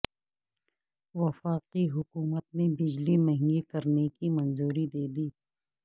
وفاقی حکومت نے بجلی مہنگی کرنے کی منظوری دیدی